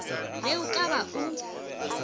ge o ka ba o